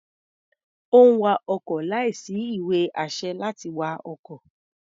Ó ń wa ọkọ̀ láìsí ìwé-àṣẹ láti wa ọkọ̀.